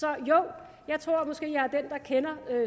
er den der kender